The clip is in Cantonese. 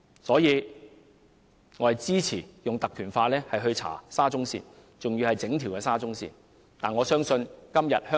因此，我支持引用《立法會條例》調查整條沙中線的工程問題。